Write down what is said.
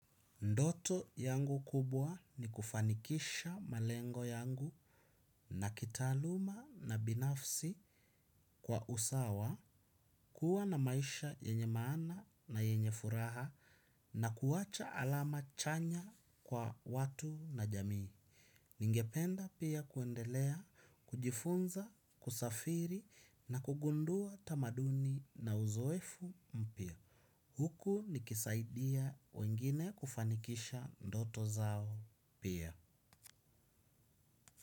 Ndoto yangu kubwa ni kufanikisha malengo yangu na kitaaluma na binafsi kwa usawa, kuwa na maisha yenye maana na yenye furaha na kuwacha alama chanya kwa watu na jamii. Ningependa pia kuendelea, kujifunza, kusafiri na kugundua tamaduni na uzoefu mpya. Huku nikisaidia wengine kufanikisha ndoto zao pia.